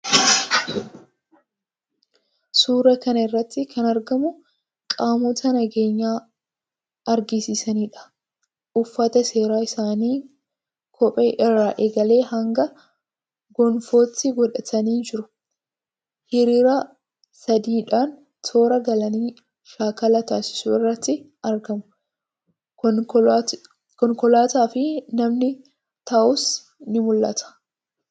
Suuraa kana irratti kan argamu qaamota nageenya eegsisaniidha. Uffata seeraa isaanii kophee irraa eegalee hanga gonfootti godhatanii jiru. Hiriira sadiidhaan toora galanii shaakala taasisuu irratti argamu. Konkolaataafi namni taa'us ni mul'ata.